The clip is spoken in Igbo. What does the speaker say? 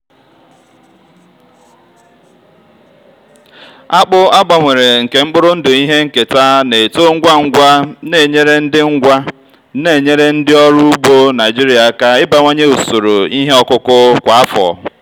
akpụ a gbanwere nke mkpụrụ ndụ ihe nketa na-eto ngwa ngwa na-enyere ndị ngwa na-enyere ndị ọrụ ugbo naijiria aka ịbawanye usoro ihe ọkụkụ kwa afọ.